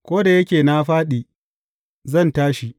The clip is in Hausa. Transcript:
Ko da yake na fāɗi, zan tashi.